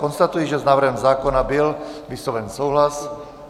Konstatuji, že s návrhem zákona byl vysloven souhlas.